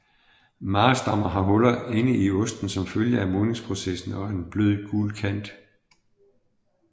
Maasdammer har huller inde i osten som følge af modningsprocessen og en blød gul kant